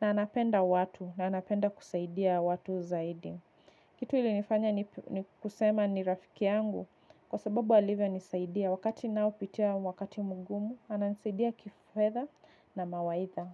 na anapenda watu na anapenda kusaidia watu zaidi. Kitu ilinifanya ni kusema ni rafiki yangu kwa sababu alivyo nisaidia. Wakati ninao pitia wakati mgumu, ananisaidia kifedha na mawaidha.